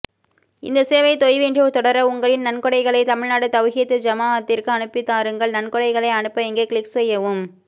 இந்த சேவை தொய்வின்றி தொடர உங்களின் நன்கொடைகளை தமிழ்நாடு தவ்ஹீத் ஜமாஅத்திற்கு அனுப்பிதாருங்கள் நன்கொடைகளை அனுப்ப இங்கே கிளிக் செய்யவும்